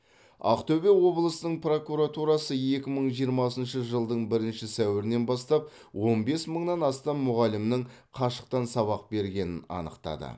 ақтөбе облысының прокуратурасы екі мың жиырмасыншы жылдың бірінші сәуірінен бастап он бес мыңнан астам мұғалімнің қашықтан сабақ бергенін анықтады